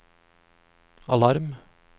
alarm